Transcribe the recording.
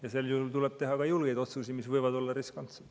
Ja sel juhul tuleb teha ka julgeid otsuseid, mis võivad olla riskantsed.